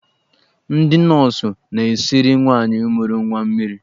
Ndị nọọsụ na-esiri nwaanyị mụrụ nwa mmiri.